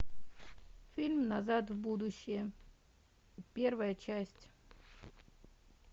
фильм назад в будущее первая часть